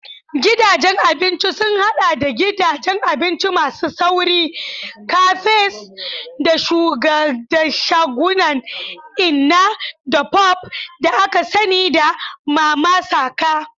Gidajen abinci sun haɗa da gidajen abinci masu sauri, cafes, da shagunan inna-da-pop da aka sani da "mama saka."